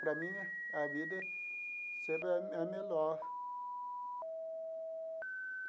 Para mim, a vida sempre é me é melhor.